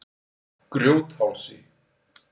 Grjóthálsi